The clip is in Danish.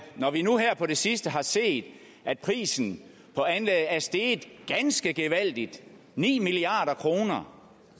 når vi nu her på det sidste har set at prisen på anlægget er steget ganske gevaldigt ni milliard kr